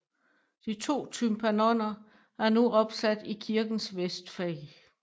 De to tympanoner er nu opsat i kirkens vestfag